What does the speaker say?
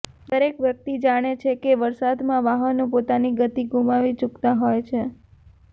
દરેક વ્યક્તિ જાણે છે કે વરસાદમાં વાહનો પોતાની ગતિ ગુમાવી ચુકતા હોય છે